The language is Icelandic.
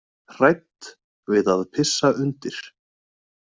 Hrædd við að pissa undir.